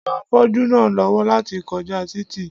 Seun ran afọ́jú náà lọ́wọ́ láti kọjá títì